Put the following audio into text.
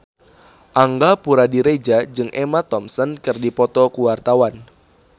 Angga Puradiredja jeung Emma Thompson keur dipoto ku wartawan